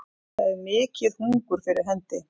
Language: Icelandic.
Það er mikið hungur fyrir hendi